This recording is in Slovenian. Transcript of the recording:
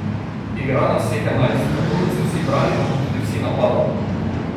Igra nas vseh enajst, tako kot se vsi branimo, tudi vsi napadamo.